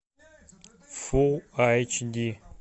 фулл айч ди